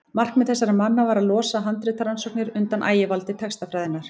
markmið þessara manna var að losa handritarannsóknir undan ægivaldi textafræðinnar